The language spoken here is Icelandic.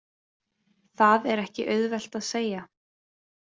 Það er ekki auðvelt að segja.